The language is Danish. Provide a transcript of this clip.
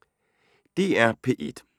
DR P1